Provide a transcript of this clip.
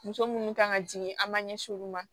Muso minnu kan ka jigin an ma ɲɛsin olu ma